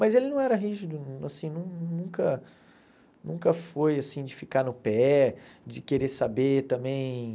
Mas ele não era rígido, assim nunca nunca foi assim de ficar no pé, de querer saber também.